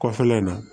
Kɔfɛla in na